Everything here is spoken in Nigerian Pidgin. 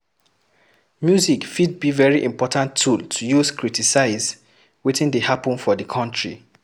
Music fit be very important tool to use criticize wetin dey happen for di country